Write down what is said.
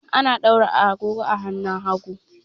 Ana daura agogo a hannun hagu.